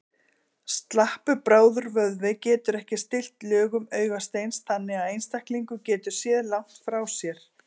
Slappur brárvöðvi getur ekki stillt lögun augasteins þannig að einstaklingur geti séð langt frá sér.